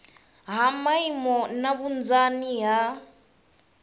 ha maimo na vhunzani ha